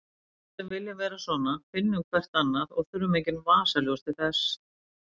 Við sem viljum vera svona finnum hvert annað og þurfum engin vasaljós til þess.